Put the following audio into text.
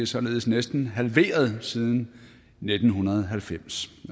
således næsten halveret siden nitten halvfems